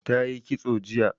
Ta yi kitso jiya